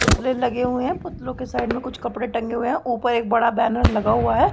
पुतले लगे हुए हैं पुतलो के साइड में कुछ कपडे टंगे हुए हैं उपर एक बड़ा बैनर लगा हुआ है।